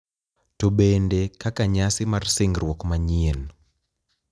To bende kaka nyasi mar singruok manyien .